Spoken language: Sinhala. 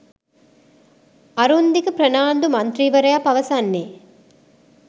අරුන්දික ප්‍රනාන්දු මන්ත්‍රීවරයා පවසන්නේ